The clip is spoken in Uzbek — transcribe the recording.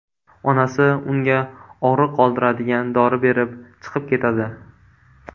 Onasi unga og‘riq qoldiradigan dori berib chiqib ketadi.